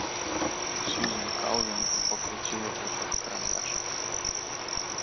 сьюзен калвин покрутила в руках карандаш